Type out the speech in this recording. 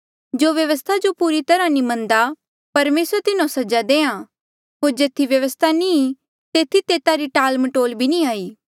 जो व्यवस्था जो पूरी तरहा नी मनदा परमेसर तिन्हो सजा देआ होर जेथी व्यवस्था नी ईं तेथी तेता री टाल मटोल भी नी हाई